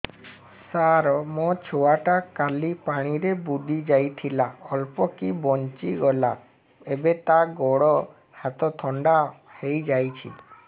ସାର ମୋ ଛୁଆ ଟା କାଲି ପାଣି ରେ ବୁଡି ଯାଇଥିଲା ଅଳ୍ପ କି ବଞ୍ଚି ଗଲା ଏବେ ତା ଗୋଡ଼ ହାତ ଥଣ୍ଡା ହେଇଯାଉଛି